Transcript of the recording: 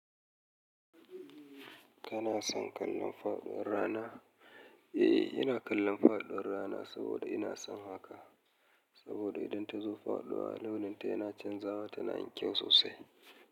Kana son kallon faɗuwar rana? Eh, ina kallon faɗuwar rana saboda ina son haka. Saboda idan tazo faɗuwa launin ta yana canzawa tana yin kyau sosai.